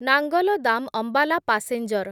Nangal dam Ambala passenger